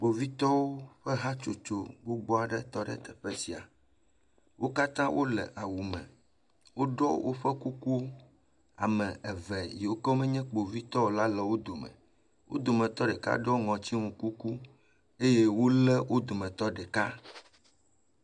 Kpovitɔwo ƒe hatsotso gbogbo aɖe tɔ ɖe teƒe sia. Wo katã wòle awu me. Woɖo woƒe kuku. Ame eve yiwo le me nyé kpovitɔwo o la wò dome. Wo dometɔ ɖeka ɖoe ŋɔti nu kuku. Wole wò dometɔ ɖeka.